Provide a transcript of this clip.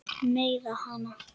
Meiða hana.